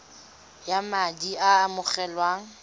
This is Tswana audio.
ya madi a a amogelwang